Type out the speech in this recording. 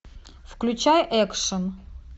включай экшн